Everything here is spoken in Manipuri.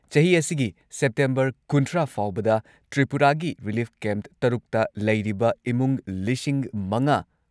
ꯆꯍꯤ ꯑꯁꯤꯒꯤ ꯁꯦꯞꯇꯦꯝꯕꯔ ꯀꯨꯟꯊ꯭ꯔꯥ ꯐꯥꯎꯕꯗ ꯇ꯭ꯔꯤꯄꯨꯔꯥꯒꯤ ꯔꯤꯂꯤꯐ ꯀꯦꯝꯞ ꯇꯔꯨꯛꯇ ꯂꯩꯔꯤꯕ ꯏꯃꯨꯡ ꯂꯤꯁꯤꯡ ꯃꯉꯥ